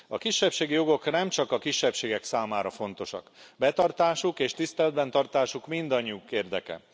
A kisebbségi jogok nemcsak a kisebbségek számára fontosak, betartásuk és tiszteletben tartásuk mindannyiunk érdeke.